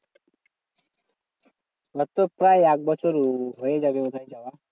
ওর তো প্রায় এক বছর হয়ে যাবে ওখানে যাওয়া।